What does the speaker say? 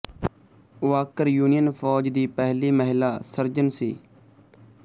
Walker union ਫੌਜ ਦੀ ਪਹਿਲੀ ਮਹਿਲਾ ਸਰਜਨ ਸੀ